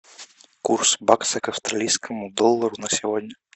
курс бакса к австралийскому доллару на сегодня